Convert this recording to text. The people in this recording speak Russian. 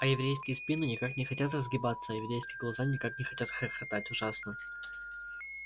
а еврейские спины никак не хотят разгибаться а еврейские глаза никак не хотят хохотать ужасно